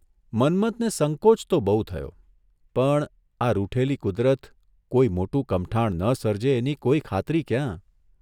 મન્મથને સંકોચ તો બહુ થયો, પણ આ રૂઠેલી કુદરત કોઇ મોટું કમઠાણ ન સર્જે એની કોઇ ખાતરી ક્યાં?